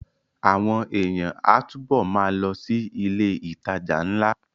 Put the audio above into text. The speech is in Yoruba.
Àwọn èèyàn á túbọ̀ ma lọ sí ilé ìtajà ńlá